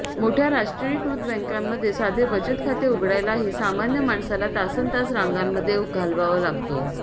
मोठया राष्ट्रीयीकृत बँकांमध्ये साधे बचत खाते उघडायलाही सामान्य माणसाला तासन् तास रांगांमध्ये घालवावा लागतो